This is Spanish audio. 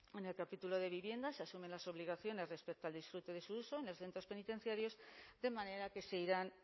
en el capítulo de vivienda se asumen las obligaciones respecto al disfrute de su uso en los centros penitenciarios de manera que se irán